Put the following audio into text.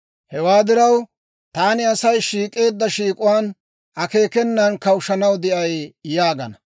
Hewaa diraw, taani Asay shiik'eedda shiik'uwaan, akeekenan kawushshanaw de'ay» yaagana.